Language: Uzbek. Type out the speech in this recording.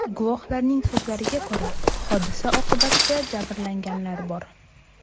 Guvohlarning so‘zlariga ko‘ra, hodisa oqibatida jabrlanganlar bor.